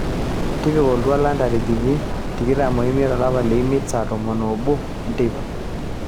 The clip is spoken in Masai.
tipika oltuala ntarikini tikitam omiet olapa lemiet saa tomon oobo teipa